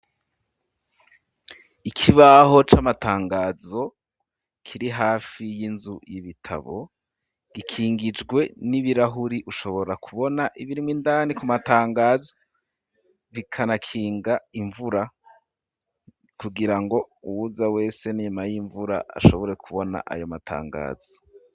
Ikibaho c'amatangazo kiri hafi y'inzu y'ibitabo gikingijwe n'ibirahuri ushobora kubona ibirimwo indani ku matangazo bikanakinga imvura kugira ngo uwuza wese n'inyuma y'imvura ashobore kubona ayo matangazo.